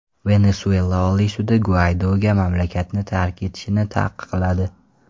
Venesuela Oliy sudi Guaydoga mamlakatni tark etishni taqiqladi.